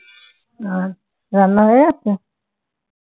আজ রান্না হয়ে গেছে?